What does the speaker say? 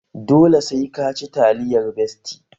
Dole sai ka ci taliyar besti!